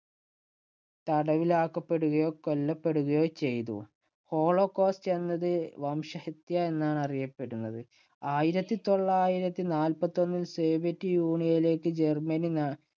തടവിലാക്കപ്പെടുകയോ കൊല്ലപ്പെടുകയോ ചെയ്തു. Holocaust എന്നത് ഈ വംശഹത്യ എന്നാണ് അറിയപ്പെടുന്നത്. ആയിരത്തി തൊള്ളായിരത്തി നാല്പത്തിയൊന്നില്‍ സോവിയറ്റ് യൂണിയനിലേക്ക് ജർമ്മനി